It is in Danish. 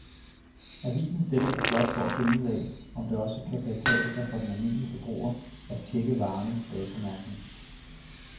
Avisen sætter sig blot for at finde ud af, om det også kan betale sig for den almindelige forbruger at checke varernes datomærkning.